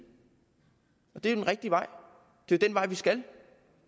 og det er jo den rigtige vej det er den vej vi skal